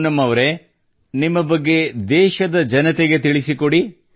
ಪೂನಂ ಅವರೇ ನಿಮ್ಮ ಬಗ್ಗೆ ದೇಶದ ಜನತೆಗೆ ತಿಳಿಸಿಕೊಡಿ